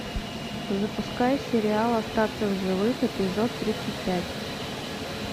запускай сериал остаться в живых эпизод тридцать пять